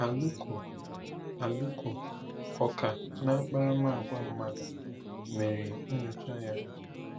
Aluko, Aluko, ọkà n'akparamàgwà mmadụ, mere nyocha ahụ.